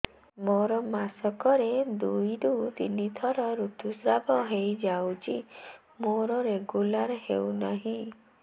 ମୋର ମାସ କ ରେ ଦୁଇ ରୁ ତିନି ଥର ଋତୁଶ୍ରାବ ହେଇଯାଉଛି ମୋର ରେଗୁଲାର ହେଉନାହିଁ